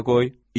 Yenə qoy.